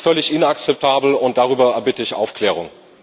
Das ist völlig inakzeptabel, und darüber erbitte ich Aufklärung.